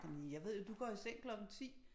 Men det jeg ved jo du går i seng klokken 10